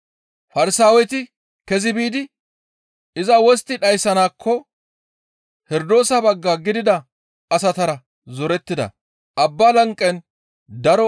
Farsaaweti kezi biidi iza wostti dhayssanaakko Herdoosa bagga gidida asatara zorettida.